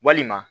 Walima